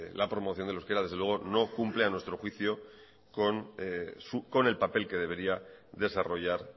la promoción del euskera desde luego no cumple a nuestro juicio con el papel que debería desarrollar